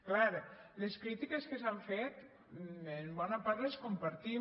clar les crítiques que s’han fet en bona part les compartim